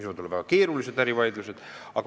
Teinekord võivad need vaidlused olla väga keerulised.